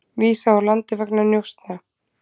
Vísað úr landi vegna njósna